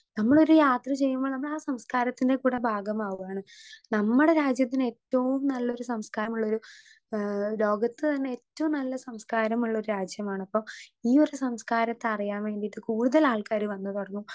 Speaker 2 നമ്മളൊരു യാത്ര ചെയ്യുമ്പൊ നമ്മളാ സംസ്കാരത്തിന്റെ കൂടെ ഭാഗമാവാണ് നമ്മടെ രാജ്യത്തിനേറ്റവും നല്ലൊരു സംസ്കാരമുള്ളൊരു ഏ ലോകത്ത് തന്നെ ഏറ്റവും നല്ല സംസ്കാരമുള്ളൊരു രാജ്യമാണപ്പൊ ഈ സംസ്കാരത്തെ അറിയാൻ വേണ്ടീട്ട് കൂടുതലാൾക്കാര് വന്ന് തൊടങ്ങും.